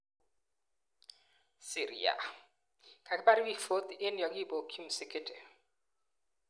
Syria:Kakipar piik 40 eng yekakipokchi msikiti